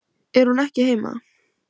Er hún ekki heima?